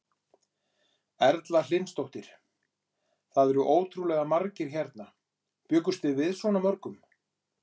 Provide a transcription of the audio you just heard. Erla Hlynsdóttir: Það eru ótrúlega margir hérna, bjuggust þið við svona mörgum?